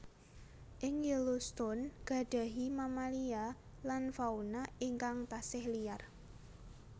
Ing Yellowstone gadhahi mamalia lan fauna ingkang tasih liar